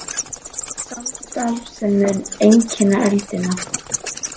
Samstarf sem mun einkenna öldina